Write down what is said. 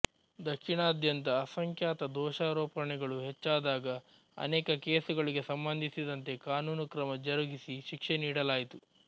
ದಕ್ಷಿಣದಾದ್ಯಂತ ಅಸಂಖ್ಯಾತ ದೋಷಾರೋಪಣೆಗಳು ಹೆಚ್ಚಾದಾಗ ಅನೇಕ ಕೇಸುಗಳಿಗೆ ಸಂಬಂಧಿಸಿದಂತೆ ಕಾನೂನು ಕ್ರಮ ಜರುಗಿಸಿ ಶಿಕ್ಷೆ ನೀಡಲಾಯಿತು